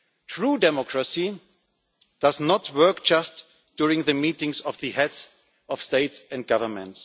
True democracy does not work just during the meetings of the Heads of State or Government.